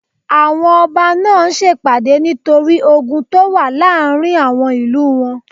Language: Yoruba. Àwọn ọba náà ń sèpàdé nítorí ogun tó wà láàrin àwọn ìlú wọn